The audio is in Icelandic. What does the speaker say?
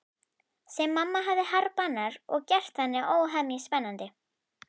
Sem mamma hafði harðbannað og gert þannig óhemju spennandi.